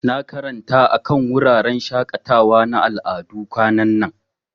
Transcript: Na karanta akan wuraren shakatawa na al'adu kwanan nan.